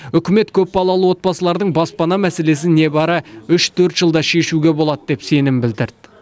үкімет көпбалалы отбасылардың баспана мәселесін небәрі үш төрт жылда шешуге болады деп сенім білдірді